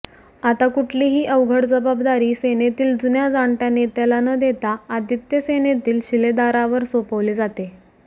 आता कुठलीही अवघड जबाबदारी सेनेतील जुन्या जाणत्या नेत्याला न देता आदित्य सेनेतील शिलेदारावर सोपवली जाते